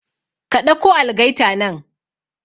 Ka ɗauko algaita nan